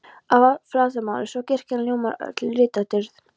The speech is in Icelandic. að flatarmáli, svo kirkjan ljómar öll í litadýrð.